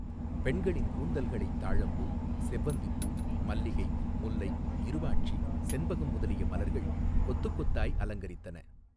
பெண்களின் கூந்தல்களைத் தாழம்பூ செவ்வந்திப்பூ மல்லிகை முல்லை இருவாட்சி செண்பகம் முதலிய மலர்கள் கொத்துக் கொத்தாய் அலங்கரித்தன.